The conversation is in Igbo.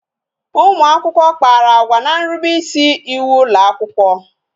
Ụmụakwụkwọ kpara agwa n'nrube isi iwu ụlọakwụkwọ